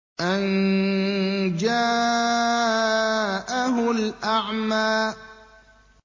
أَن جَاءَهُ الْأَعْمَىٰ